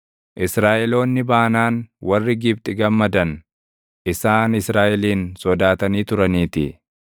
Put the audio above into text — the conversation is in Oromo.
Israaʼeloonni baanaan warri Gibxi gammadan; isaan Israaʼelin sodaatanii turaniitii.